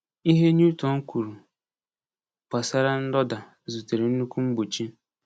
Ihe Newton kwuru gbasara ndọda zutere nnukwu mgbochi.